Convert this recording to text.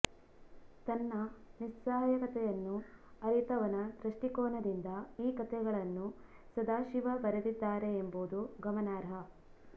ತನ್ನ ನಿಸ್ಸಹಾಯಕತೆಯನ್ನು ಅರಿತವನ ದೃಷ್ಟಿಕೋನದಿಂದ ಈ ಕಥೆಗಳನ್ನು ಸದಾಶಿವ ಬರೆದಿದ್ದಾರೆ ಎಂಬುದು ಗಮನಾರ್ಹ